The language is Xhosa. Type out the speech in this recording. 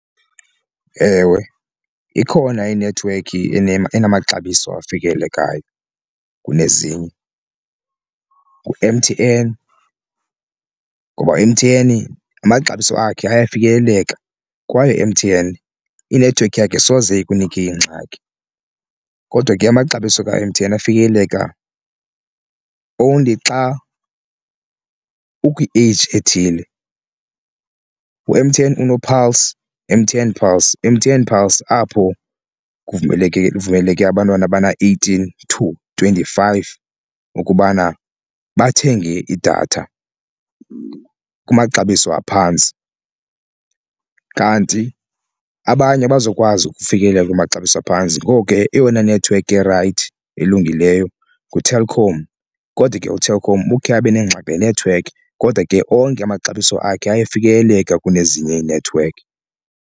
Ewe ikhona inethiwekhi enamaxabiso afikelelekayo kunezinye ngu-M_T_N ngoba M_T_N amaxabiso akhe ayafikeleleka kwaye u-M_T_N i-network yakhe soze ikunike ingxaki. Kodwa ke amaxabiso ka-M_T_N afikeleleka only xa ukwi-age ethile, u-M_T_N uno-pulse M_T_N pulse M_T_N pulse apho kuvumeleke kuvumeleke abantwana bana-eighteen to twenty-five ukubana bathenge idatha kumaxabiso aphantsi. Kanti abanye abazokwazi ukufikelela kumaxabiso aphantsi ngoko ke eyona nethiwekhi irayithi elungileyo nguTelkom kodwa ke uTelkom ukhe abe nengxaki nenethiwekhi kodwa ke onke amaxabiso akhe ayafikeleleka kunezinye iinethiwekhi.